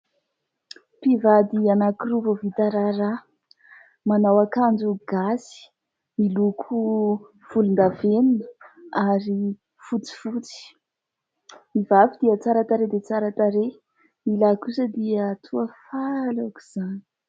Mpivady anankiroa vao vita raharaha. Manao akanjo gasy miloko volondavenona ary fotsifotsy. Ny vavy dia tsara tarehy dia tsara tarehy, ny lahy kosa dia toa faly aok'izany.